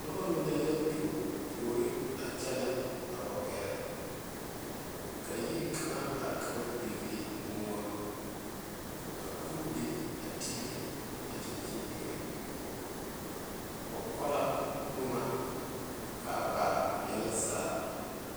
Noba mine la tuo tuori a wa kyɛne gare ka yiri kaŋe are ka ba pele ne mɔɔ ka kuwire are tele a daŋkyine seɛ ba ko la maŋ kaa baa veɛlɛ zaa.